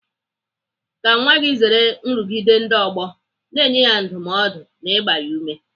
Ka nwa gị zere nrụgide ndị ọgbọ, na-enye ya ndụmọdụ ma na-agba ya ume